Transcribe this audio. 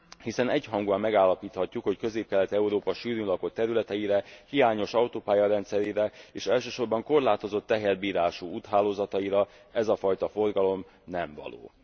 Hiszen egyhangúan megállapíthatjuk, hogy Közép Kelet Európa sűrűn lakott területeire, hiányos autópálya rendszerére és elsősorban korlátozott teherbírású úthálózataira ez a fajta forgalom nem való.